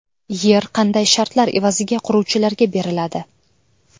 Yer qanday shartlar evaziga quruvchilarga beriladi?